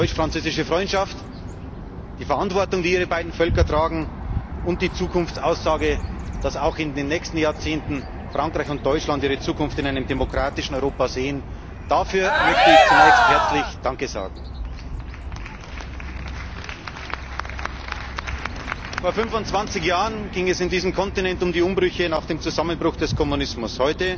Die deutsch französische Freundschaft, die Verantwortung, die Ihre beiden Völker tragen, und die Zukunftsaussage, dass auch in den nächsten Jahrzehnten Frankreich und Deutschland ihre Zukunft in einem demokratischen Europa sehen Dafür möchte ich zunächst herzlich Danke sagen. Vor 25 Jahren ging es in diesem Kontinent um die Umbrüche nach dem Zusammenbruch des Kommunismus.